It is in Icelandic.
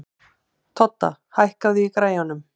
Todda, hækkaðu í græjunum.